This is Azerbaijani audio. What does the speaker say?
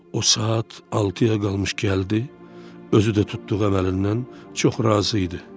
O, saat altıya qalmış gəldi, özü də tutduğu əməlindən çox razı idi.